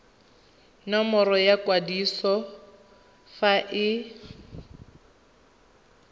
nomoro ya kwadiso fa e